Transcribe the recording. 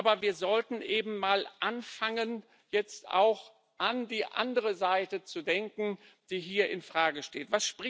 Aber wir sollten anfangen, jetzt auch an die andere Seite zu denken, die hier in Frage steht.